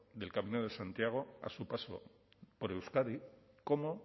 del camino de santiago a su paso por euskadi como